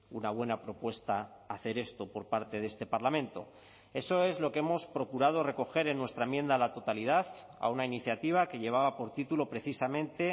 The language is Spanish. una buena propuesta hacer esto por parte de este parlamento eso es lo que hemos procurado recoger en nuestra enmienda a la totalidad a una iniciativa que llevaba por título precisamente